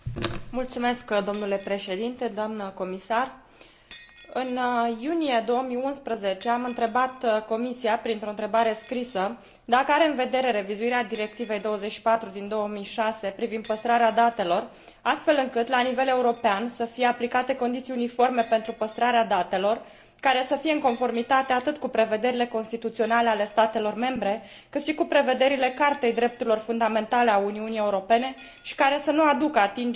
În iunie 2011 am întrebat Comisia, printr o întrebare scrisă, dacă are în vedere revizuirea Directivei 24 din 2006 privind păstrarea datelor, astfel încât la nivel european să fie aplicate condiții uniforme pentru păstrarea datelor, care să fie în conformitate atât cu prevederile constituționale ale statelor membre, cât și cu prevederile Cartei drepturilor fundamentale a Uniunii Europene și care să nu aducă atingere exercitării dreptului la liberă circulație, dreptul la viață privată.